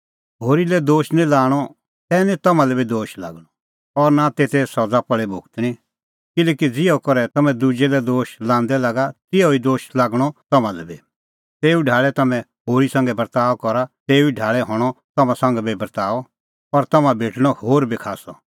किल्हैकि ज़िहअ करै तम्हैं दुजै लै दोशा लांदै लागा तिहअ ई दोश लागणअ तम्हां लै बी ज़ेऊ ढाल़ै तम्हैं होरी संघै बर्ताअ करा तेऊ ढाल़ै हणअ तम्हां संघै बी बर्ताअ और तम्हां भेटणअ होर बी खास्सअ